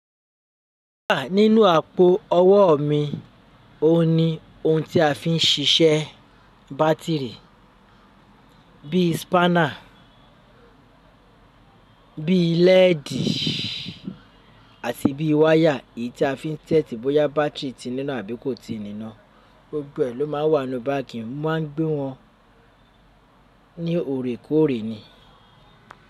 Ah, nínú àpò ọwọ́ mi, ó ní ohun tí a fi ń ṣiṣẹ́ bátìrì bíi spánà, bíi lẹ́ẹ̀dì àti bíi wáyà èyí tí a fi ń tẹ́tí bóyá bátìrì ti níná àbí kò ti níná, gbogbo ẹ̀ ló máa ń wà nínú báàgì, mo ma ń gbé wọn ní òrékòóre ni.